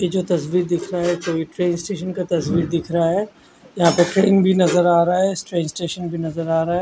ये जो तस्वीर दिख रहा है कोई ट्रेन स्टेशन का तस्वीर दिख रहा है यहाँ पे ट्रेन भी नज़र रहा है ट्रेन स्टेशन भी नज़र आ रहा है।